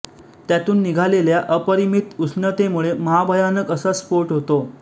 त्यातून निघालेल्या अपरिमित उष्णतेमुळे महाभयानक असा स्फोट होतो